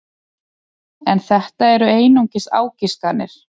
En þetta eru einungis ágiskanir.